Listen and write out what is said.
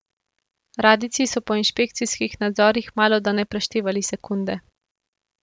Radijci so po inšpekcijskih nadzorih malodane preštevali sekunde.